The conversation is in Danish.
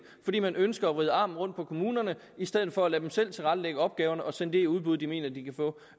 fordi man ønsker at vride armen rundt på kommunerne i stedet for at lade dem selv tilrettelægge opgaverne og sende det i udbud de mener de kan få